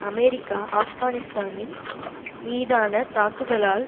America ஆப்கானிஸ்தானில் மீதான தாக்குதலால்